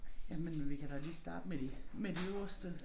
Jamen vi kan da lige starte med de med de øverste